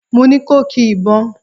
Mo ni ko ki ìbọn!